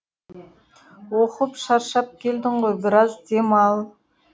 оқып шаршап келдің ғой біраз демал